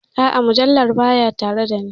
A'a, mujallar baya tare da ni.